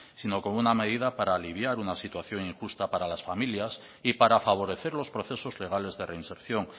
sino como una medida para aliviar una situación injusta para las familias y para favorecer los procesos legales de reinserción